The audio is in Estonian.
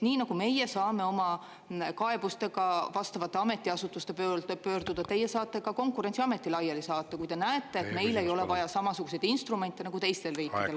Nii nagu meie saame oma kaebustega vastavate ametiasutuste poole pöörduda, teie saate ka Konkurentsiameti laiali saata, kui te näete, et meil ei ole vaja samasuguseid instrumente nagu teistel riikidel.